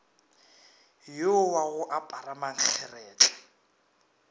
yo wa go apara mankgeretla